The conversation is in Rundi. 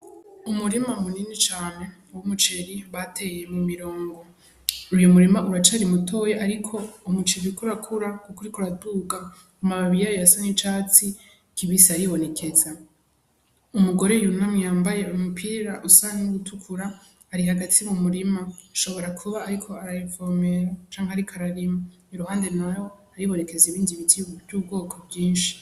Umurima munini cane wo umuceri bateye mu mirongo uyo murima uracari mutoye, ariko umucivi iko urakura kukuriko raduga u mababiri ayo yasone icatsi kibisi aribonekeza umugore yunamwe yambaye umupira usange n' ugutukura ari hagati mu murima nshobora kuba, ariko re vomela canke ari karalima i ruhande, naho ariborekeza ibindi bitiu vy'ubwoko bwinshi.